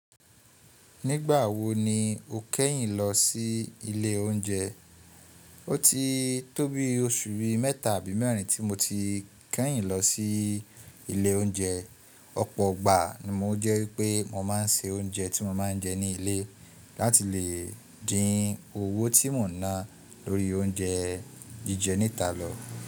Nígbà wo ni o kẹ́yìn lọ sí ilé oúnjẹ? Ó ti tóbi oṣù bí i mẹ́ta àbí mẹ́rin tí mo ti kẹ́yìn lọ sí ilé oúnjẹ. Ọ̀pọ̀ gbà ni o jẹ́ wípé mo máa ń se oúnjẹ tí mo máa ń jẹ ní ilé láti lè dín owó tí mò ń ná lórí oúnjẹ jíjẹ níta lọ.